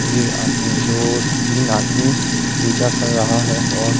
ये आदमी दो तीन आदमी पूजा कर रहा है और--